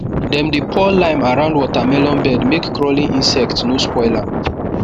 dem dey pour lime around watermelon bed make crawling insect no spoil am